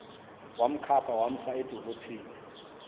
wamkhapha wamsa edolophini